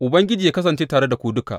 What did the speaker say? Ubangiji yă kasance tare da ku duka.